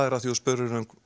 því þú spurðir